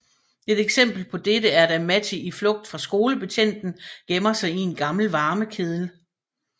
Et eksempel på dette er da Matti i flugt fra skolebetjenten gemmer sig i en gammel varmekedel